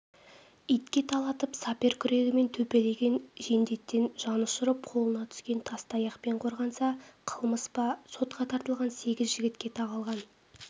итке талатып сапер күрегімен төпелеген жендеттен жанұшырып қолына түскен тас-таяқпен қорғанса қылмыс па сотқа тартылған сегіз жігітке тағылған